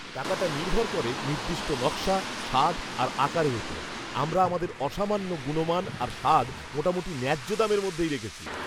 টাকাটা নির্ভর করে নির্দিষ্ট নকশা, স্বাদ আর আকারের ওপর। আমরা আমাদের অসামান্য গুণমান আর স্বাদ মোটামুটি ন্যায্য দামের মধ্যেই রেখেছি।